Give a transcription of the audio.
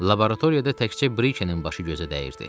Laboratoriyada təkcə Brikenin başı gözə dəyirdi.